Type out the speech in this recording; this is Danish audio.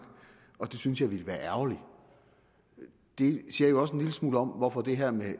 og det synes jeg ville være ærgerligt det siger jo også en lille smule om hvorfor det her med